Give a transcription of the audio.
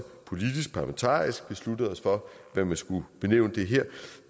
politisk og parlamentarisk besluttede os for hvad man skulle benævne det her